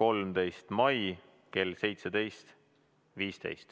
13. mai kell 17.15.